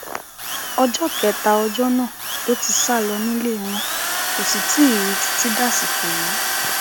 ọjọ kejì ọjọ náà ló ti sá lọ nílé wọn kò sì tí ì rí i i títí dàsìkò yìí